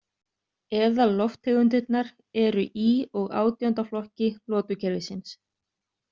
Eðallofttegundirnar eru í og átjánda flokki lotukerfisins.